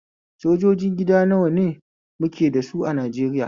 Sojoji gida nawa ne muke da sa a Najeriya?